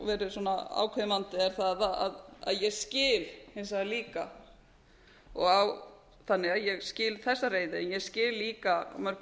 verið ákveðinn vandi er það að ég skil hins vegar líka ég skil þessa reiði en ég skil líka að mörgu